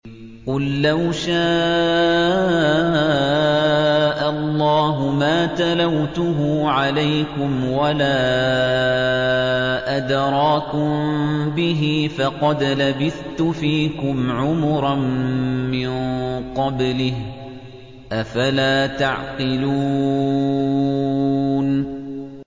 قُل لَّوْ شَاءَ اللَّهُ مَا تَلَوْتُهُ عَلَيْكُمْ وَلَا أَدْرَاكُم بِهِ ۖ فَقَدْ لَبِثْتُ فِيكُمْ عُمُرًا مِّن قَبْلِهِ ۚ أَفَلَا تَعْقِلُونَ